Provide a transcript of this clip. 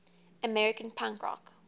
american punk rock